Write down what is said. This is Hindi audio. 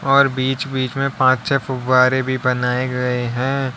और बीच बीच में पंच छ फुव्वारे भी बनाए गए हैं।